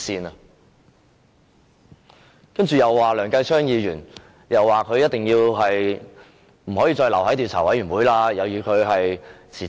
他們又說梁繼昌議員一定不可以留在專責委員會，要他辭職。